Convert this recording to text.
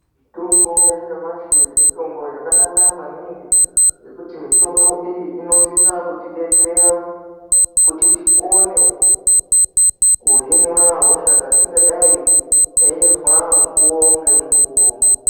Mitombo ya nyamashi mitombo yakanaka maningi ngekuti mitombo iyi ino sisa kutidetsera kuti ti kone kuhinwa hosha dzatingadai teizwa mukuwo nge mukuwo.